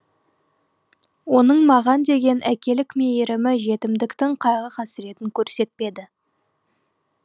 оның маған деген әкелік мейірімі жетімдіктің қайғы қасіретін көрсетпеді